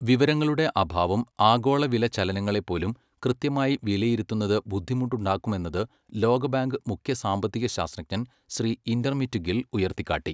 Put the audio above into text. വിവരങ്ങളുടെ അഭാവം ആഗോള വില ചലനങ്ങളെപ്പോലും കൃത്യമായി വിലയിരുത്തുന്നത് ബുദ്ധിമുട്ടുണ്ടാക്കുമെന്നത് ലോകബാങ്ക് മുഖ്യ സാമ്പത്തികശാസ്ത്രജ്ഞൻ ശ്രീ ഇന്റർമിറ്റ് ഗിൽ ഉയർത്തിക്കാട്ടി.